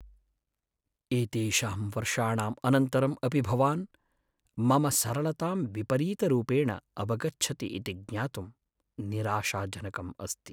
एतेषां वर्षाणाम् अनन्तरम् अपि भवान् मम सरलतां विपरीतरूपेण अवगच्छति इति ज्ञातुं निराशाजनकम् अस्ति।